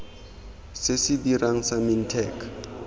se se dirang sa mintech